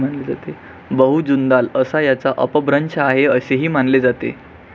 बहू जुंदाल असा याचा अपभ्रंश आहे असेही मानले जाते